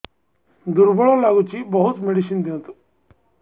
ଦୁର୍ବଳ ଲାଗୁଚି ବହୁତ ମେଡିସିନ ଦିଅନ୍ତୁ